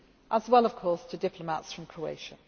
decision, as well of course to diplomats from